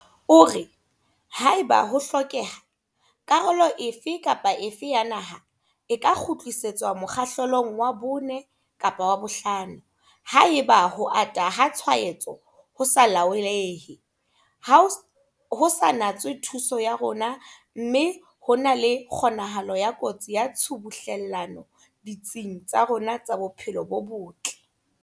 O re, haeba ho hlokeha, karolo efe kapa efe ya naha e ka kgutlisetswa mokgahlelong wa 4 kapa wa 5 haeba ho ata ha tshwaetso ho sa laolehe ho sa natswe thuso ya rona mme ho na le kgonahalo ya kotsi ya tshubuhlellano ditsing tsa rona tsa bophelo bo botle.